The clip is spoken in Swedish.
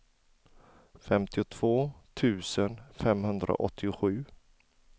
femtiotvå tusen femhundraåttiosju